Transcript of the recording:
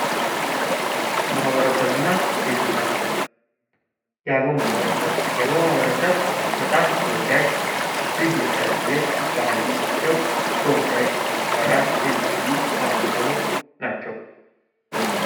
ማህበረሰብ እና ቤተሰብ፦ የአገው ማህበረሰብ ፦የአገው ማህበረሰብ በጣም ተወዳጅ እጅግ የተለየ ባህል ያላቸው ተወዳጅ ጭፈራ የሚያሳዩ ማህበረሰቦች ናቸው።